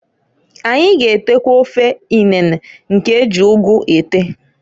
Anyi g'etekwa ofe inene nke eji ugu ete.